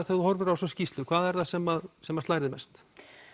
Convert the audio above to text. þú horfir á þessa skýrslu hvað er það sem sem að slær þig mest